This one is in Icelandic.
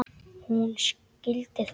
Hún skildi það.